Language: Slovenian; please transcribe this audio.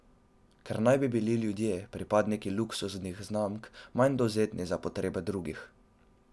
Ker bi naj bili ljudje, pripadniki luksuznih znamk, manj dovzetni za potrebe drugih.